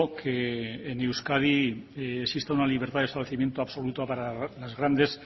que en euskadi exista una libertad de establecimiento absoluto para los grandes